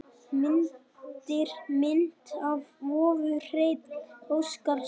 Myndir: Mynd af vofu: Hreinn Óskarsson.